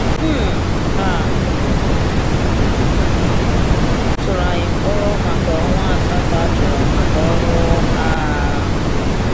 um A tụrụ anyị mkpọrọ maka ọnwa asatọ achọrọ maka ọrụ agha.